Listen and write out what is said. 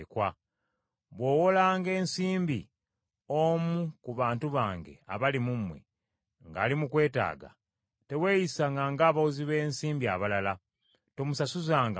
“Bw’owolanga ensimbi omu ku bantu bange abali mu mmwe, ng’ali mu kwetaaga, teweeyisanga ng’abawozi b’ensimbi abalala; tomusasuzanga magoba.